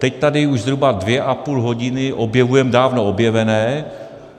Teď tady už zhruba dvě a půl hodiny objevujeme dávno objevené.